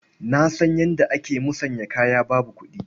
Na san yadda ake musanyar kaya babu kuɗi.